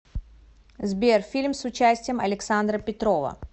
сбер фильм с участием александра петрова